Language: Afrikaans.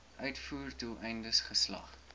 uitvoer doeleindes geslag